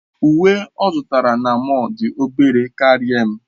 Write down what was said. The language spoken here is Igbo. Uwe ọ zụtara na mọll dị obere karịa m.